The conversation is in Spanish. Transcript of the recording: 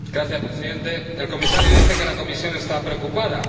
Señor Presidente, el Comisario dice que la Comisión está preocupada.